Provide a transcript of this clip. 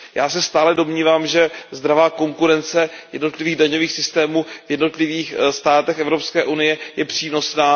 Já se stále domnívám, že zdravá konkurence jednotlivých daňových systémů v jednotlivých státech Evropské unie je přínosná.